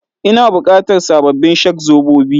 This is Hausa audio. Ina bukatar sababbin shak-zobobi?